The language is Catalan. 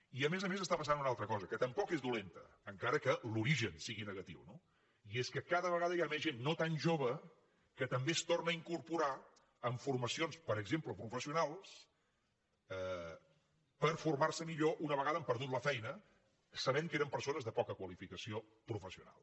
i a més a més està passant una altra cosa que tampoc és dolenta encara que l’origen sigui negatiu no i és que cada vegada hi ha més gent no tan jove que també es torna a incorporar a formacions per exemple professionals per formar se millor una vegada han perdut la feina sabent que eren persones de poca qualificació professional